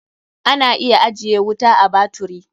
Ana iya ajiye wuta a baturi.